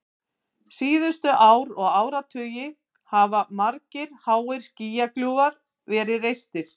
Síðustu ár og áratugi hafa margir háir skýjakljúfar verið reistir.